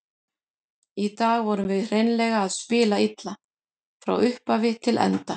Í dag vorum við hreinlega að spila illa, frá upphafi til enda.